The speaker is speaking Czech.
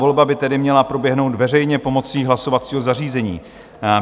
Volba by tedy měla proběhnout veřejně pomocí hlasovacího zařízení.